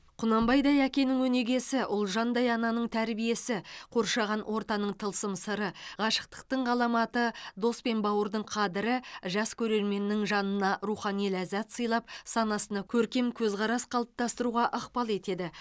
құнанбайдай әкенің өнегесі ұлжандай ананың тәрбиесі қоршаған ортаның тылсым сыры ғашықтықтың ғаламаты дос пен бауырдың қадірі жас көрерменнің жанына рухани ләззат сыйлап санасына көркем көзқарас қалыптастыруға ықпал етеді